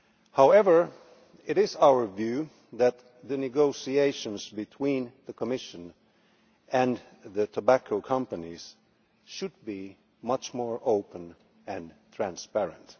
However, it is our view that the negotiations between the Commission and the tobacco companies should be much more open and transparent.